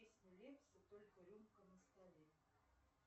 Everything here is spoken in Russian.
песня лепса только рюмка на столе